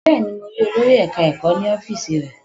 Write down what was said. Bẹ́ẹ̀ni, mo rí olòrì eka-eko ní ọ́fíìsì rẹ̀